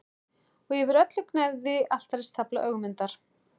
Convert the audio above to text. Og yfir öllu gnæfði altaristafla Ögmundar.